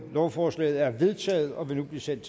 lovforslaget er vedtaget og vil nu blive sendt